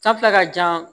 ka jan